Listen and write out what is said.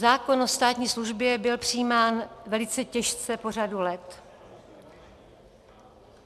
Zákon o státní službě byl přijímán velice těžce po řadu let.